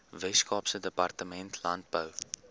weskaapse departement landbou